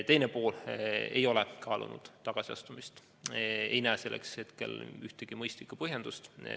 Teine pool: ma ei ole kaalunud tagasiastumist, ei näe selleks hetkel ühtegi mõistlikku põhjendust.